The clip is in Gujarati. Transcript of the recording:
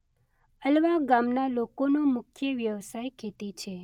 અલવા ગામના લોકોનો મુખ્ય વ્યવસાય ખેતી છે.